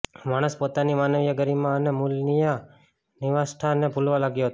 માણસ પોતાની માનવીય ગરિમા અને મૂલ્યનિષ્ઠાને ભૂલવા લાગ્યો હતો